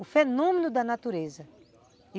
O fenômeno da natureza.